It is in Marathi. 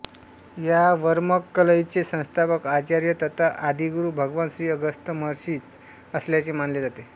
ह्या वर्मक्कलैचे संस्थापक आचार्य तथा आदिगुरु भगवान श्री अगस्त्य महर्षीच असल्याचे मानले जाते